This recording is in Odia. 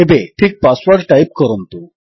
ଏବେ ଠିକ୍ ପାସୱର୍ଡ ଟାଇପ୍ କରନ୍ତୁ